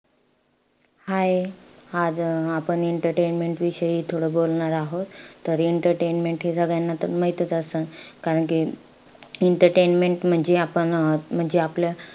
Hii आज अं आपण entertainment विषयी थोडं बोलणार आहोत. तर entertainment हे तर सगळ्यांना त माहीतच असंन. कारण कि entertainment म्हणजे आपण, अं म्हणजे आपल्या,